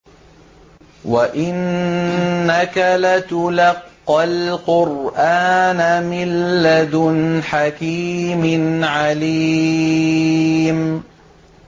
وَإِنَّكَ لَتُلَقَّى الْقُرْآنَ مِن لَّدُنْ حَكِيمٍ عَلِيمٍ